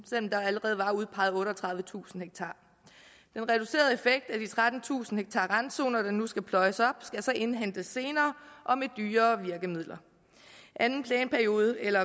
selv om der allerede var udpeget otteogtredivetusind ha den reducerede effekt af de trettentusind ha randzoner der nu skal pløjes op skal så indhentes senere og med dyrere virkemidler anden planperiode eller